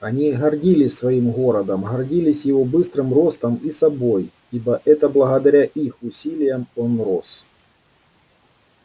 они гордились своим городом гордились его быстрым ростом и собой ибо это благодаря их усилиям он рос